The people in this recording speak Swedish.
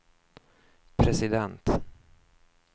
president